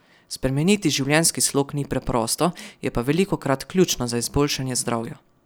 Spremeniti življenjski slog ni preprosto, je pa velikokrat ključno za izboljšanje zdravja.